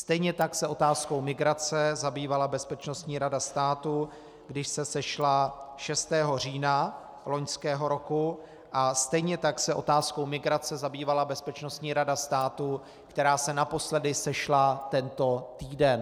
Stejně tak se otázkou migrace zabývala Bezpečnostní rada státu, když se sešla 6. října loňského roku, a stejně tak se otázkou migrace zabývala Bezpečnostní rada státu, která se naposledy sešla tento týden.